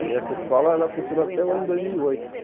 E essa escola, ela funcionou até o ano dois mil e oito.